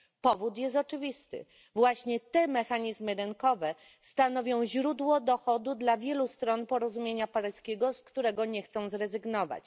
Powód jest oczywisty właśnie te mechanizmy rynkowe stanowią źródło dochodu dla wielu stron porozumienia paryskiego, z którego nie chcą one zrezygnować.